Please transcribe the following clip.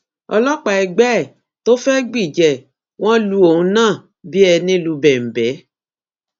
ọlọpàá ẹgbẹ ẹ tó fẹẹ gbìjà ẹ wọn lu òun náà bíi ẹni lu bẹńbẹ